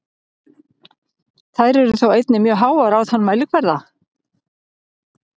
Þær eru þó einnig mjög háar á þann mælikvarða.